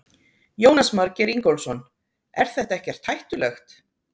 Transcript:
Jónas Margeir Ingólfsson: Er þetta ekkert hættulegt?